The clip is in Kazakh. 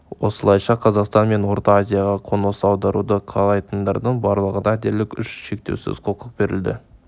осылайша қазақстан мен орта азияға қоныс аударуды қалайтындардың барлығына дерлік еш шектеусіз құқық берілді